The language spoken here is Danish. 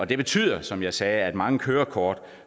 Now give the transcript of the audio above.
det betyder som jeg sagde at mange kørekort